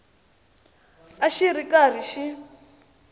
a xi ri karhi xi